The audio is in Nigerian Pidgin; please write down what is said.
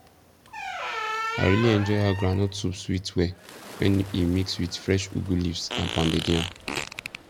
i really enjoy how groundnut soup sweet well when e mix with fresh ugu leaves and pounded yam